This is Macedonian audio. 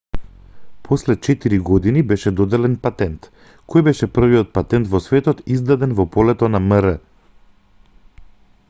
после четири години беше доделен патент кој беше првиот патент во светот издаден во полето на мр